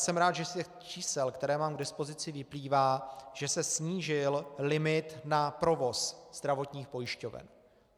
Jsem rád, že z těch čísel, která mám k dispozici, vyplývá, že se snížil limit na provoz zdravotních pojišťoven.